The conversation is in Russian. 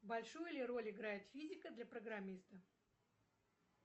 большую ли роль играет физика для программиста